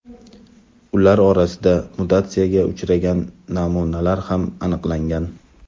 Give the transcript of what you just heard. ular orasida mutatsiyaga uchragan namunalar ham aniqlangan.